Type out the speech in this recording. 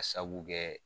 Ka sabu kɛ